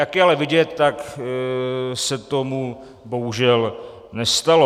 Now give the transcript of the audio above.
Jak je ale vidět, tak se tomu bohužel nestalo.